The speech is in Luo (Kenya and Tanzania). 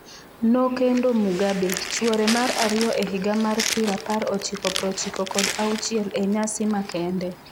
Nokendo Mugabe, chuore mar ariyo e higa mar pirapar ochiko prochiko kod auchiel e nyasi makende.